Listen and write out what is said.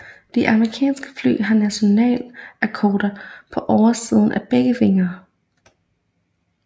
De amerikanske fly har nationalkokarder på oversiden af begge vinger